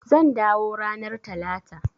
Zan dawo ranar Talata.